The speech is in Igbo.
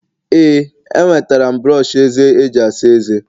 ee, enwetara m brọsh eze eji asa ezé